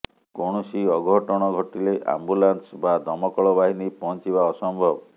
କୌଣସି ଅଘଟଣ ଘଟିଲେ ଆମ୍ବୁଲାନ୍ସ ବା ଦମକଳ ବାହିନୀ ପହଞ୍ଚିବା ଅସମ୍ଭବ